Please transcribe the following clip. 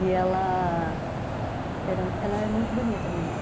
E ela... Ela é muito bonita, minha mãe.